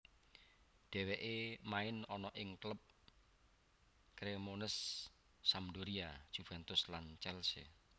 Dheweke main ana ing klub Cremonese Sampdoria Juventus lan Chelsea